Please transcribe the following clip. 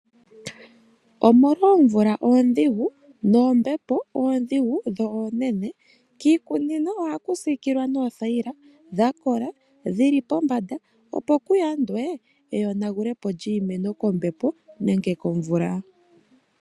Omolwa oomvula oondhigu, noombepo oondhigu, dho oonene kiikunino oha ku siikilwa noothaila dha kola, dhi li pombanda, opo ku yandwe eyonanagule po lyiimeno kombepo, nenge kombepo , nenge komvula.